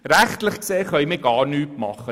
Rechtlich gesehen, können wir gar nichts tun;